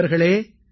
நண்பர்களே